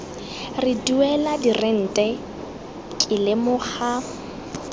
re duela dirente ke lemoga